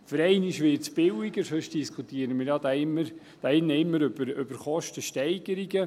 Für einmal wird es billiger, sonst diskutieren wir hier ja immer über Kostensteigerungen.